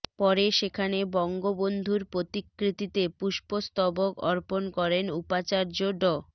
পরে সেখানে বঙ্গবন্ধুর প্রতিকৃতিতে পুষ্পস্তবক অর্পণ করেন উপাচার্য ড